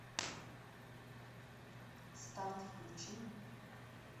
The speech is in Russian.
старт включи